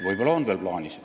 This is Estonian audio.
Võib-olla on see veel plaanis.